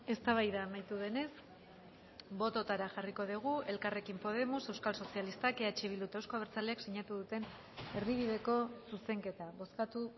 eztabaida amaitu denez bototara jarriko dugu elkarrekin podemos euskal sozialistak eh bildu eta euzko abertzaleak sinatu duten erdibideko zuzenketa bozkatu